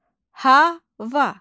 Hava.